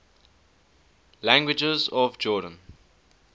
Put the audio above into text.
languages of jordan